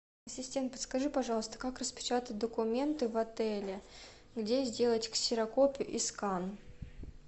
ассистент подскажи пожалуйста как распечатать документы в отеле где сделать ксерокопию и скан